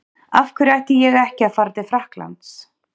Af hverju ætti ég ekki að fara til Frakklands?